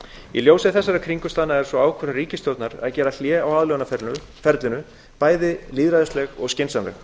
í ljósi þessara kringumstæðna er sú ákvörðun ríkisstjórnar að gera hlé á aðlögunarferlinu bæði lýðræðisleg og skynsamleg